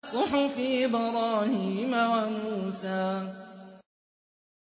صُحُفِ إِبْرَاهِيمَ وَمُوسَىٰ